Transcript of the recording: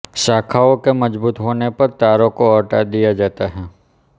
शाखाओं के मजबूत होने पर तारों को हटा दिया जाता है